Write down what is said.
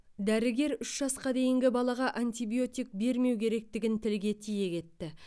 дәрігер үш жасқа дейінгі балаға антибиотик бермеу керектігін тілге тиек етті